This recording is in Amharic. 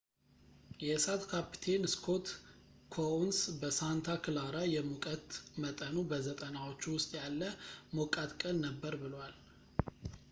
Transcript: የእሳት ካፕቴን ስኮት ኮኡንስ በሳንታ ክላራ የሙቀት መጠኑ በ90ዎቹ ውስጥ ያለ ሞቃት ቀን ነበር ብሏል